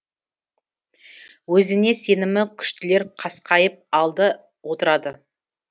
өзіне сенімі күштілер қасқайып алды отырады